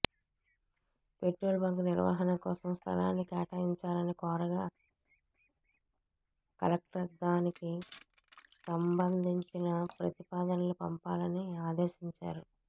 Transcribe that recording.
petrol bunk నిర్వహణ కోసం స్థలాన్ని కేటాయిం చాలని కోరగా కలెక్టర్దానికి సంబంధంచిన ప్రతిపా దనలు పంపాలని ఆదేశించారు